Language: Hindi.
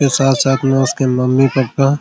मुझे साथ-साथ में उसके मम्मी पापा--